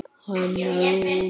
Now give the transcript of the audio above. Hanna Rún.